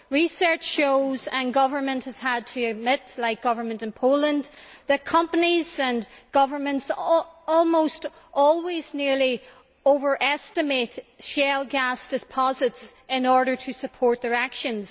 Research shows and governments have had to admit, like the government in Poland, that companies and governments almost always nearly overestimate shale gas deposits in order to support their actions.